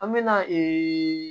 An me na ee